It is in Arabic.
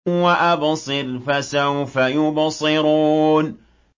وَأَبْصِرْ فَسَوْفَ يُبْصِرُونَ